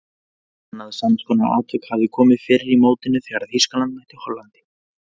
Annað samskonar atvik hafði komið fyrr í mótinu þegar Þýskaland mætti Hollandi.